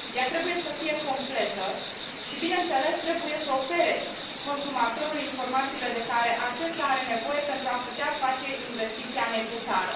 ea trebuie să fie completă și, bineînțeles, trebuie să ofere consumatorului informațiile de care acesta are nevoie pentru a putea face investiția necesară.